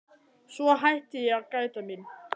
Svo hætti ég að gæta mín.